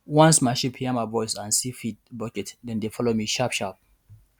once my sheep hear my voice and see feed bucket dem dey follow me sharp sharp